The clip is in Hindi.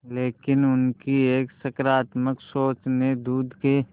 लेकिन उनकी एक सकरात्मक सोच ने दूध के